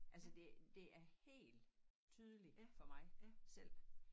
Altså det det er helt tydeligt for mig selv